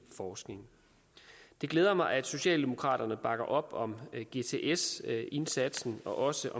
forskning det glæder mig at socialdemokraterne bakker op om gts indsatsen og også